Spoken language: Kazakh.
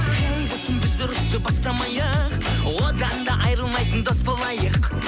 ей досым біз ұрысты бастамайық одан да айырылмайтын дос болайық